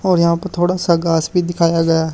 और यहां पर थोड़ा सा घास भी दिखाया गया।